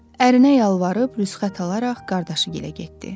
Ərinə yalvarıb rüsxət alaraq qardaşı gilə getdi.